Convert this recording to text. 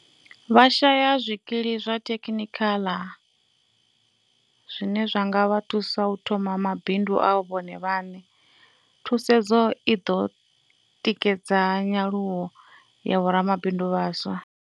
Vha shaya zwikili zwa thekhinikhala zwine zwa nga vha thu sa u thoma mabindu a vhone vhaṋe. Thusedzo i ḓo tikedza nyaluwo ya vho ramabindu vha vhaswa.